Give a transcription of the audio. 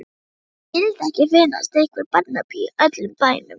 Skyldi ekki finnast einhver barnapía í öllum bænum.